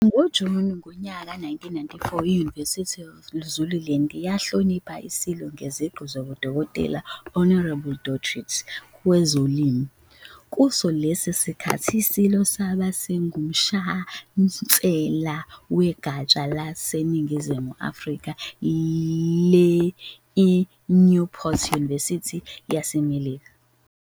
NgoJuni ngonyaka ka-1994, I-University of Zululand yahlonipha iSilo ngeziqu zobudokotela, Honorary Doctorate, kwezolimo. Kuso lesi sikhathi iSilo sabe singuShansela wegatsha laseNingizimu Afrika le-I-Newport University yaseMelika.